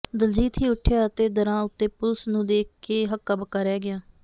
ਦਲਜੀਤ ਹੀ ਉੱਠਿਆ ਅਤੇ ਦਰਾਂ ਉੱਤੇ ਪੁਲਸ ਨੂੰ ਦੇਖ ਕੇ ਹੱਕਾ ਬੱਕਾ ਰਹਿ ਗਿਆ